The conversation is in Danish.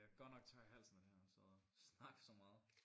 Jeg godt nok tør i halsen af det her sidde og snakke så meget